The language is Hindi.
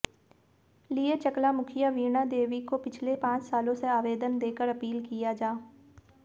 लिऐ चकला मुखिया वीणा देवी को पिछले पांच सालों से आवेदन देकर अपील किया जा